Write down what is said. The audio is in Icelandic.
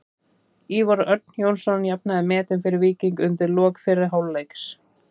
Ívar Örn Jónsson jafnaði metin fyrir Víking undir lok fyrri hálfleiks.